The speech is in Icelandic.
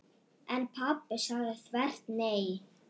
En pabbi sagði þvert nei.